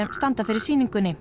standa fyrir sýningunni